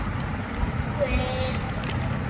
Búið